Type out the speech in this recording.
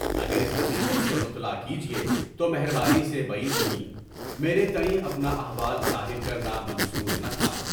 اگر اس حقیقت سے مطلع کیجیے تو مہر مانی سے بعید نہیں، میرے تایئں، اپنا احوال ظاہر کرنا منظور نہ تھا۔